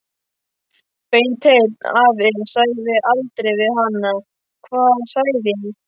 Beinteinn afi sagði aldrei við hana: Hvað sagði ég?